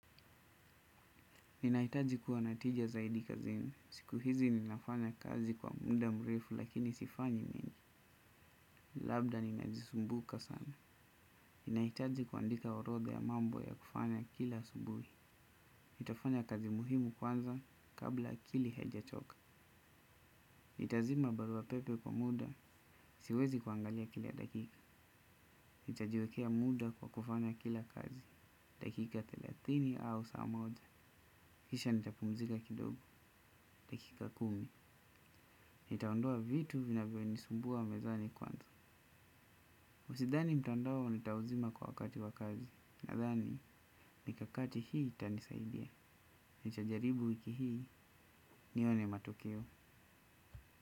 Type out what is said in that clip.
Ninahitaji kuwa na tija zaidi kazini. Siku hizi ninafanya kazi kwa muda mrefu lakini sifanyi mengi. Labda ninajisumbuka sana. Ninahitaji kuandika orodha ya mambo ya kufanya kila asubuhi. Nitafanya kazi muhimu kwanza kabla akili haija choka. Nitazima barua pepe kwa muda. Siwezi kuangalia kila dakika. Nitajiwekea muda kwa kufanya kila kazi. Dakika thelathini au saa moja kisha nitapumzika kidogo. Dakika kumi. Nitaondoa vitu vinavyo nisumbua mezani kwanza sidhani mtandao nita uzima kwa wakati wa kazi. Nadhani mikakati hii itanisaidia nitajaribu wiki hii nione matokeo.